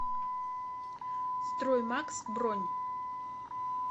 строймакс бронь